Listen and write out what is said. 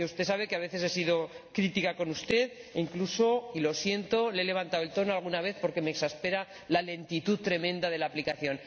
Usted sabe que a veces he sido crítica con usted e incluso, lo siento, le he levantado la voz alguna vez porque me exaspera la lentitud tremenda de la aplicación.